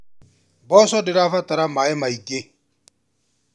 Mboco ndĩra batara maaĩ maingĩ.